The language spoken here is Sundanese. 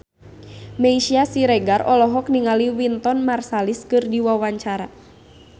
Meisya Siregar olohok ningali Wynton Marsalis keur diwawancara